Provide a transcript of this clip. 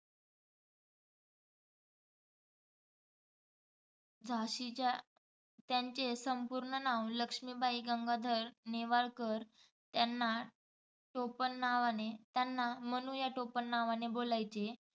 झाशीच्या त्यांचे संपूर्ण नाव लक्ष्मीबाई गंगाधर नेवाळकर त्यांना टोपणनावाने त्यांना मनू या टोपणानावाने बोलायचे.